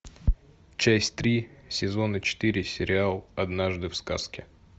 часть три сезона четыре сериал однажды в сказке